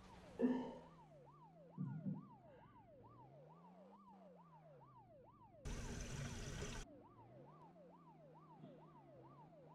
ore aun aitushul ndaiki naijo mboosho, mboosho e soya o minji naa kenare